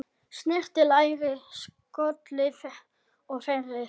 Snyrtið lærið, skolið og þerrið.